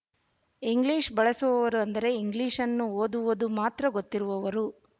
English ಬಳಸುವವರು ಅಂದರೆ ಇಂಗ್ಲೀಶ್‌ನ್ನು ಓದುವುದು ಮಾತ್ರ ಗೊತ್ತಿರುವವರು